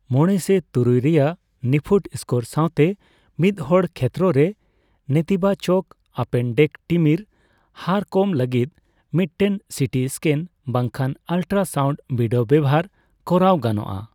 ᱢᱚᱲᱮ ᱥᱮ ᱛᱩᱨᱩᱭ ᱨᱮᱭᱟᱜ ᱱᱤᱯᱷᱩᱴ ᱥᱠᱳᱨ ᱥᱟᱣᱛᱮ ᱢᱤᱫᱦᱚᱲ ᱠᱷᱮᱛᱨᱚ ᱨᱮ, ᱱᱮᱛᱤᱵᱟᱪᱚᱠ ᱟᱯᱮᱱᱰᱮᱠᱴᱤᱢᱤᱨ ᱦᱟᱨ ᱠᱚᱢ ᱞᱟᱹᱜᱤᱫ ᱢᱤᱫᱴᱮᱱ ᱥᱤᱴᱤ ᱤᱥᱠᱮᱱ ᱵᱟᱝᱠᱷᱟᱱ ᱟᱞᱴᱨᱟᱥᱟᱣᱩᱱᱰ ᱵᱤᱰᱟᱹᱣ ᱵᱮᱣᱦᱟᱨ ᱠᱚᱨᱟᱣ ᱜᱟᱱᱚᱜᱼᱟ ᱾